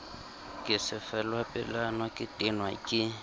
ke sefelapelwana ke tenwa ke